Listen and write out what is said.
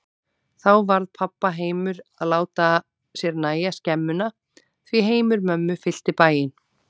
Þá varð pabba heimur að láta sér nægja skemmuna, því heimur mömmu fyllti bæinn.